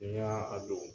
N'i y'a a don